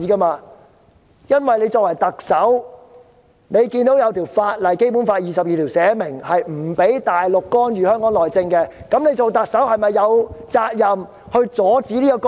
"林鄭"作為特首，看到《基本法》第二十二條訂明大陸官員不能干預香港內政，她是否有責任阻止這些干預？